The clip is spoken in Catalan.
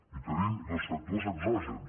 i tenim dos factors exògens